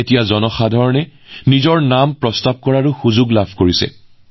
এতিয়া মানুহে নিজকে মনোনীত কৰাৰ সুযোগ পাইছে